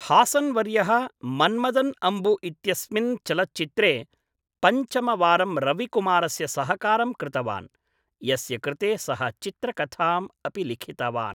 हासन् वर्यः मन्मदन् अम्बु इत्यस्मिन् चलच्चित्रे पञ्चमवारं रविकुमारस्य सहकारं कृतवान्, यस्य कृते सः चित्रकथाम् अपि लिखितवान्।